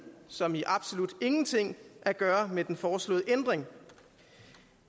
som i absolut ingenting at gøre med den foreslåede ændring